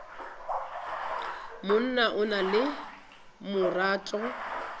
monna o na le marato